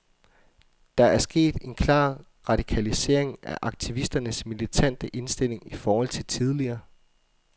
Der er sket en klar radikalisering af aktivisternes militante indstilling i forhold til tidligere.